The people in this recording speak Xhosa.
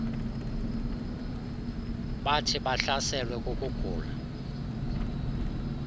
bathi bahlaselwe kukugula